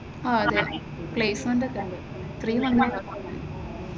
അഹ് അതെ അതെ പ്ലേസ്‌മെന്റൊക്കെ ഉണ്ട്, ത്രീ മന്താണ്.